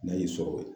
N'a y'i sɔrɔ